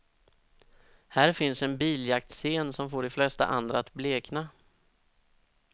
Här finns en biljaktscen som får de flesta andra att blekna.